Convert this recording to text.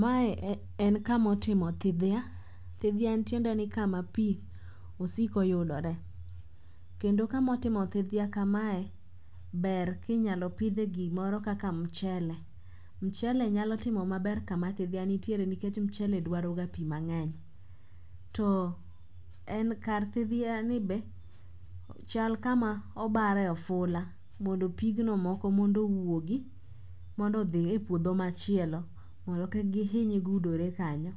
Mae en kamo timo thidhya. Thidhya tiende ni en kama pi osiko yudore. Kendo kamo timo thidhya bere kinyalo pidhie gimoro kaka mchele. Mchele nyalo timo maber kama thidhya nitiere nikech mchele dwaro ga pi mang'eny. To en kar thidhya ni be chal kama obare ifula mondo pigno moko mondo owuogi mondo odhi e puodho machielo. Mondo kik gihiny gudore kanyo.